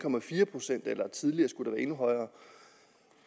procent og tidligere skulle det være endnu højere